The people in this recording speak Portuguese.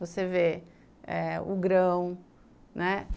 Você vê eh o grão, né?